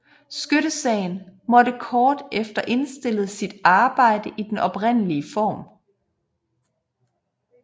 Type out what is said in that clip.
Skyttesagen måtte kort efter indstille sit arbejde i den oprindelige form